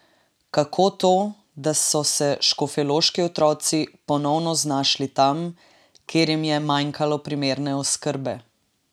Kako to, da so se škofjeloški otroci ponovno znašli tam, kjer jim je manjkalo primerne oskrbe?